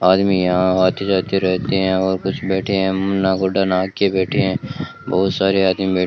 आदमी यहां आते जाते रहते है और कुछ बैठे हैं मुन्ना को डना के बैठे हैं बहोत सारे आदमी बै--